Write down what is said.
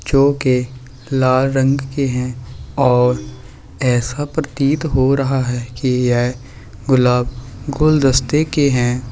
जोकि लाल रंग के हैं और ऐसा प्रतीत हो रहा है के ये गुलाब गुलदस्ते के हैं।